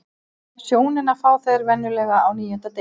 Sjónina fá þeir venjulega á níunda degi.